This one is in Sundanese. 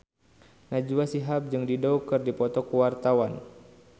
Najwa Shihab jeung Dido keur dipoto ku wartawan